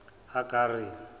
hagari